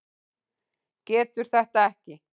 Getur þetta ekki.